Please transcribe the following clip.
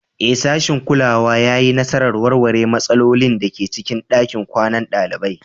Ee, sashin kulawa ya yi nasarar warware matsalolin da ke cikin ɗakin kwanan ɗalibai.